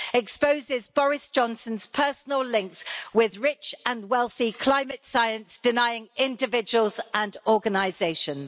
exposes Boris Johnson's personal links with rich and wealthy climate science denying individuals and organisations?